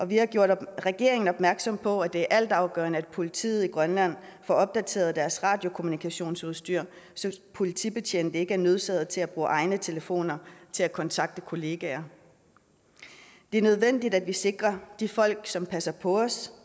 vi har gjort regeringen opmærksom på at det er altafgørende at politiet i grønland får opdateret deres radiokommunikationsudstyr så politibetjente ikke er nødsaget til at bruge egne telefoner til at kontakte kollegaer det er nødvendigt at vi sikrer de folk som passer på os